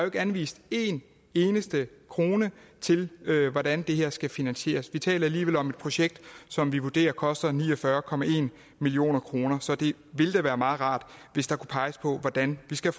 ikke anvist en eneste krone til hvordan det her skal finansieres og vi taler alligevel om et projekt som vi vurderer koster ni og fyrre million kroner så det ville da være meget rart hvis der kunne peges på hvordan vi skal